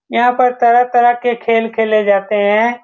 यहाँ पर तरह-तरह के खेल खेले जाते हैं।